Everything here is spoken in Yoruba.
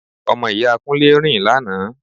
Ọmọ ìyá Kúnlé rìn lánàá